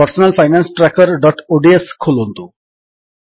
personal finance trackerଓଡିଏସ ଖୋଲନ୍ତୁ